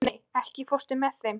Rafney, ekki fórstu með þeim?